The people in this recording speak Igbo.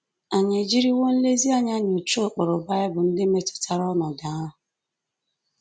Ànyị ejiriwo nlezianya nyochaa ụkpụrụ Bible ndị metụtara ọnọdụ ahụ?